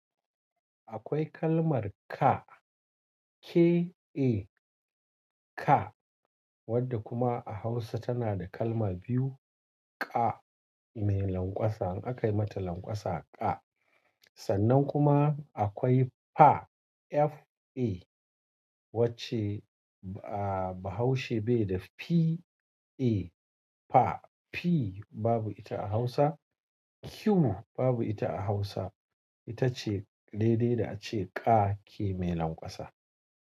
Akwai kalmar Ka, K A ka wadda kuma a Hausa tana da kalma biyu, ƙa mai lanƙwasa in aka yi mata lanƙwasa ƙa. Sannan kuma akwai fa F A wacce bahaushe bai da P A fa. P babu ita a Hausa, Q babu ita a Hausa. Ita ce daidai da ace ƙa, ki mai lanƙwasa.